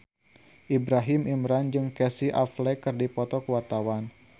Ibrahim Imran jeung Casey Affleck keur dipoto ku wartawan